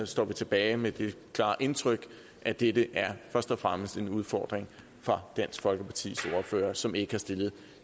står vi tilbage med det klare indtryk at dette først og fremmest er en udfordring for dansk folkepartis ordfører som ikke har stillet